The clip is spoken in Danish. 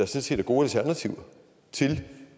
set er gode alternativer til